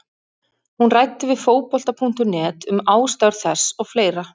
Hún ræddi við Fótbolta.net um ástæður þess og fleira.